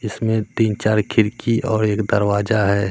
इसमें तीन चार खिड़की और एक दरवाजा है।